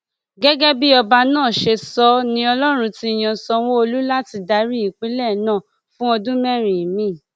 gẹgẹ bí ọba náà ṣe sọ ọ ni ọlọrun ti yan sanwóolu láti darí ìpínlẹ náà fún ọdún mẹrin miín